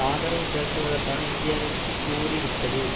ஆதரவு திரட்டுவதற்கான இந்தியாவிற்கு கூறி விட்டது